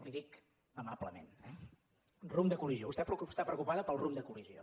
li ho dic amablement eh rumb de col·lisió vostè està preocupada pel rumb de col·lisió